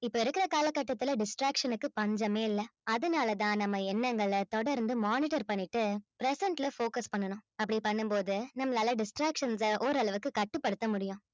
இப்ப இருக்குற கால கட்டத்துல distraction க்கு பஞ்சமே இல்ல அதனாலதான் நம்ம எண்ணங்களை தொடர்ந்து monitor பண்ணிட்டு present ல focus பண்ணணும் அப்படி பண்ணும்போது நம்மளால distractions அ ஓரளவுக்கு கட்டுப்படுத்த முடியும்